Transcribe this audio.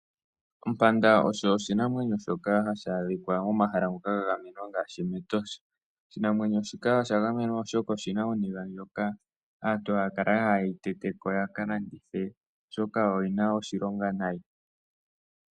Ompanda oshinanwenyo hashi adhika miikunino ya gamenwa ngaashi etosha. Oshinanwenyo shika osha gamenwa oshoka oshina ooniga ndhoka aantu haya kala ya hala yedhi teteko oshoka oshina oshilonga nayi.